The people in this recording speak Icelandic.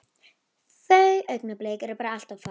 Þau augnablik eru bara allt of fá.